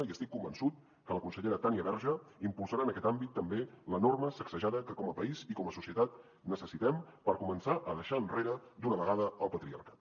i estic convençut que la consellera tània verge impulsarà en aquest àmbit també l’enorme sacsejada que com a país i com a societat necessitem per començar a deixar enrere d’una vegada el patriarcat